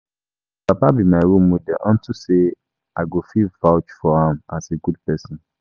My papa be my role model unto say I go fit vouch for am as a good person